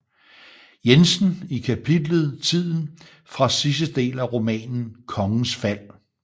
Jensen i kapitlet Tiden fra sidste del af romanen Kongens Fald